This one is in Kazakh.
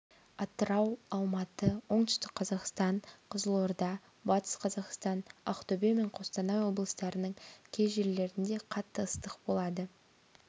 атырау алматы оңтүстік қазақстан қызылорда батыс қазақстан ақтөбе мен қостанай облыстарының кей жерлерінде қатты ыстық болады